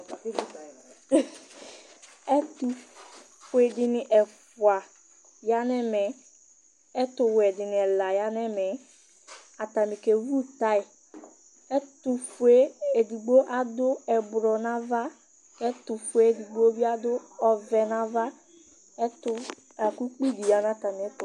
Ɛtʋfue dɩnɩ ɛfʋa ya nʋ ɛmɛ, ɛtʋwɛ dɩnɩ ɛla ya nʋ ɛmɛ Atanɩ kewu taya Ɛtʋfue edigbo adʋ ɛblɔ nʋ ava kʋ ɛtʋfue edigbo bɩ adʋ ɔvɛ nʋ ava Ɛtʋ la kʋ ukpi dɩ ya nʋ atamɩɛtʋ